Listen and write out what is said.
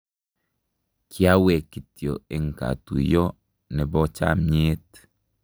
Kyawe kityo eng katuiyo nepo chamnyeet.